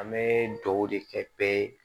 An bɛ dugawu de kɛ bɛɛ ye